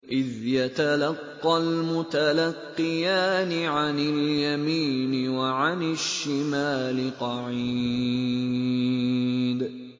إِذْ يَتَلَقَّى الْمُتَلَقِّيَانِ عَنِ الْيَمِينِ وَعَنِ الشِّمَالِ قَعِيدٌ